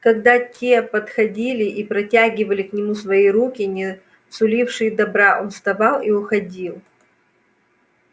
когда те подходили и протягивали к нему свои руки не сулившие добра он вставал и уходил